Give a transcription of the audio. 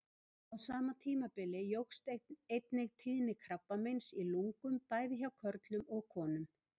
Á sama tímabili jókst einnig tíðni krabbameins í lungum, bæði hjá körlum og konum.